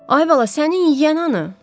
Ay bala, sənin yiyən hanı?